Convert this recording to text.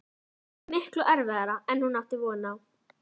Þetta verður miklu erfiðara en hún átti von á.